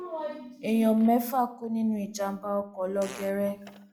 èèyàn mẹfà kú nínú ìjàmbá ọkọ lọgẹrẹ